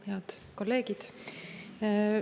Head kolleegid!